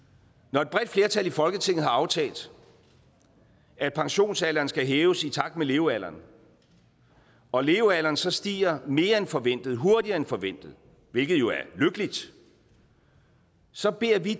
når et bredt flertal i folketinget har aftalt at pensionsalderen skal hæves i takt med levealderen og levealderen så stiger mere end forventet hurtigere end forventet hvilket jo er lykkeligt så beder vi